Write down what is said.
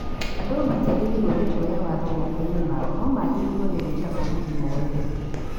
Andũ matiagĩrĩirwo nĩ kuoya watho moko-inĩ mao no magĩrĩirwo nĩ gwĩta borithi moerere